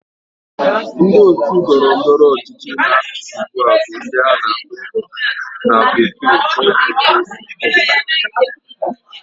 Ndi otu Ndọrọ ndọrọ ọchịchị na achi ugba bu ndi ana akpo na bekee All Progressive Congress